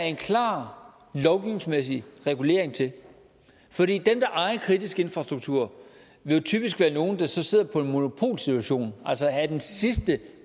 en klar lovgivningsmæssig regulering til fordi dem der ejer kritisk infrastruktur vil typisk være nogle der så sidder på monopolsituation og altså er det sidste